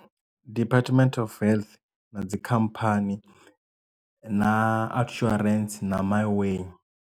Department of health na dzikhamphani na outsurance na Miway.